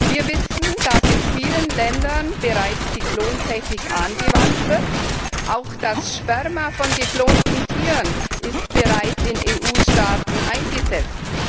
Wir wissen, dass in vielen Ländern bereits die Klontechnik angewandt wird, auch das Sperma von geklonten Tieren wird bereits in EU Staaten eingesetzt.